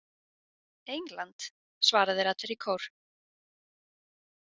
England, svara þeir allir í kór.